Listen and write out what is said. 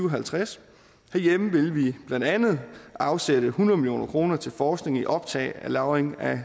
og halvtreds herhjemme vil vi blandt andet afsætte hundrede million kroner til forskning i optag og lagring af